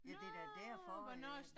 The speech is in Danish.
Ja det da derfor øh